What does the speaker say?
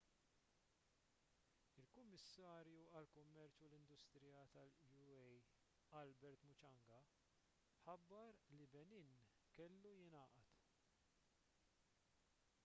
il-kummissarju għall-kummerċ u l-industrija tal-ua albert muchanga ħabbar li benin kellu jingħaqad